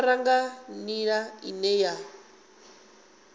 ḓifara nga nḓila ine ya